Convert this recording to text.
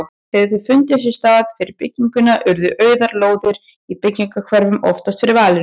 Þegar þeir fundu sér stað fyrir bygginguna urðu auðar lóðir í braggahverfunum oftast fyrir valinu.